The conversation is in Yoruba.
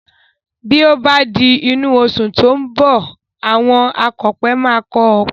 Bí ó bá di inú oṣù tí ó ń bọ̀, àwọn akọ̀pẹ máa kọ́ ọpẹ